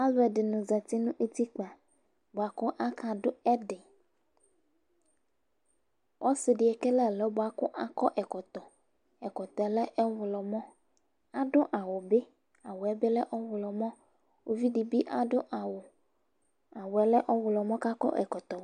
Alʋɛdini zati nʋ ʋtikpa, bʋakʋ aka dʋ ɛdi, ɔsidi ekele ɛlʋ bʋakʋ akɔ ɛkɔtɔ. Ɛkɔtɔ yɛ lɛ ɔwlɔmɔ, adʋ awʋbi awʋ bilɛ ɔwlɔmɔ, ʋvodi bi adʋ awʋ, awʋ yɛlɛ ɔwlɔmɔ kʋ akɔ ɛkɔtɔ.